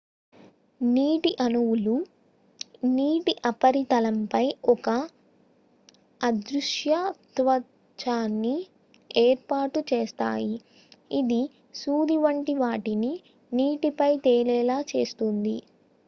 నీటి అణువులు నీటి ఉపరితలంపై ఒక అదృశ్య త్వచాన్ని ఏర్పాటు చేస్తాయి ఇది సూది వంటి వాటిని నీటి పైన తేలేలా చేస్తుంది